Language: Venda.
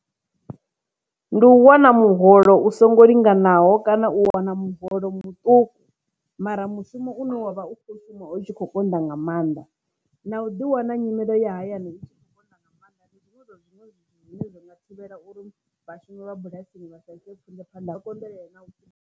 Ndi u wana muholo u songo linganaho kana u wana muholo muṱuku mara mushumo une wavha u kho shuma o tshi kho konḓa nga maanḓa na u ḓi wana nyimelo ya hayani u wana nga maanḓa ndi zwinwe zwi ne zwi nga thivhela uri vhashumi vha bulasini vha sa ite phanḓa ha konḓelele na .